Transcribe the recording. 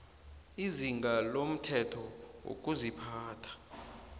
izinga lomthetho wokuziphatha